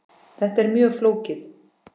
Þetta er mjög flókið.